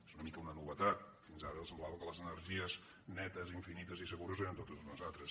és una mica una no·vetat fins ara semblava que les energies netes infinites i segures eren totes unes altres